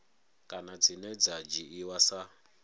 kana dzine dza dzhiiwa sa